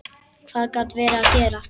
Hvað gat verið að gerast?